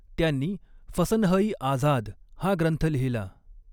त्यांनी फसनहइ आझाद हा ग्रंथ लिहिला.